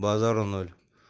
базару ноль